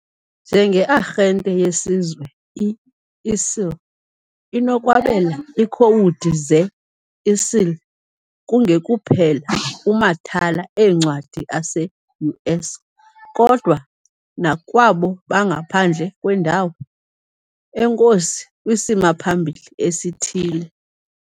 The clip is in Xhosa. Njengearhente yesizwe, i-ISIL inokwabela iikhowudi ze-ISIL kungekuphela kumathala eencwadi ase-US, kodwa nakwabo bangaphandle kwendawo enkosi kwisimaphambili esithile.